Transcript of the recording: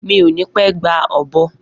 Mi o ni pẹ gba ọ̀bọ